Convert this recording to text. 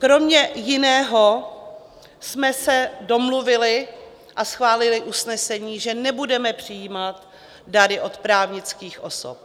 Kromě jiného jsme se domluvili a schválili usnesení, že nebudeme přijímat dary od právnických osob.